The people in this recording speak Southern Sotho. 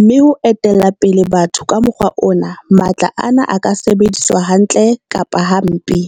mme ho etella pele batho ka mokgwa ona, matla ana a ka sebediswa hantle kapa hampe.